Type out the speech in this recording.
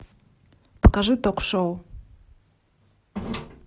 покажи ток шоу